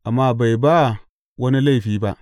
Amma bai ba wani laifi ba.